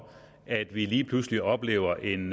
at vi lige pludselig oplever en